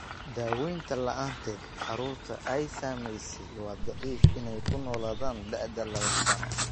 Daawaynta la'aanteed, carruurta ay saamaysay waa dhif inay ku noolaadaan da'da laba sano.